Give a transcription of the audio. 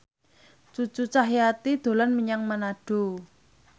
Cucu Cahyati dolan menyang Manado